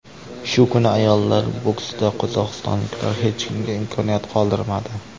Shu kuni ayollar boksida qozog‘istonliklar hech kimga imkoniyat qoldirmadi.